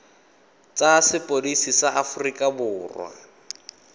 tsa sepodisi sa aforika borwa